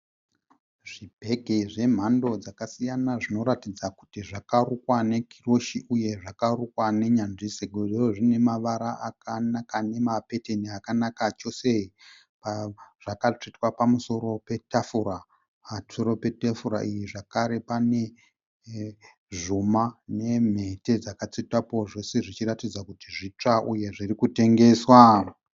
Zvibhegi zvemhando dzakasiyana zvinoratidza kuti zvakarukwa nekiroshi uye zvakarukwa nenyanzvi sezvo zvine mavara akanaka ane mapetani akanaka chose. Zvakatsvetwa pamusoro petafura. Pamusoro petafura iyi zvekare pane zvuma nemhete dzakatsvetwapo. Zvose zvichiratidza kuti zvitsva uye zvirikutengeswa.